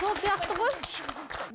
сол сияқты ғой